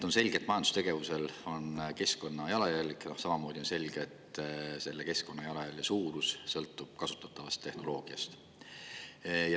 On selge, et majandustegevusel on keskkonnajalajälg, samamoodi on selge, et selle keskkonnajalajälje suurus sõltub kasutatavast tehnoloogiast.